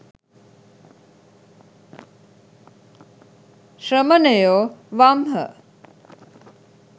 ශ්‍රමණයෝ වම් හ.